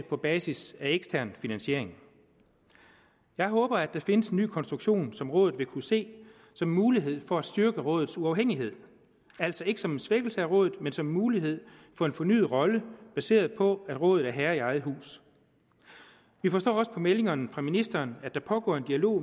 på basis af ekstern finansiering jeg håber der findes en ny konstruktion som rådet vil kunne se som en mulighed for at styrke rådets uafhængighed altså ikke som en svækkelse af rådet men som en mulighed for en fornyet rolle baseret på at rådet er herre i eget hus vi forstår også på meldingerne fra ministeren at der pågår en dialog